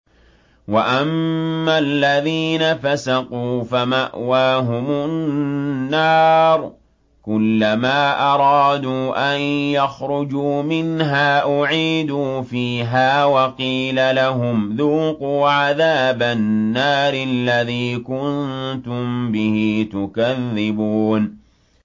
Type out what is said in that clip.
وَأَمَّا الَّذِينَ فَسَقُوا فَمَأْوَاهُمُ النَّارُ ۖ كُلَّمَا أَرَادُوا أَن يَخْرُجُوا مِنْهَا أُعِيدُوا فِيهَا وَقِيلَ لَهُمْ ذُوقُوا عَذَابَ النَّارِ الَّذِي كُنتُم بِهِ تُكَذِّبُونَ